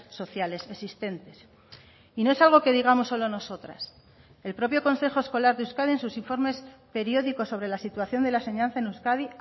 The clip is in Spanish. sociales existentes y no es algo que digamos solo nosotras el propio consejo escolar de euskadi en sus informes periódicos sobre la situación de la enseñanza en euskadi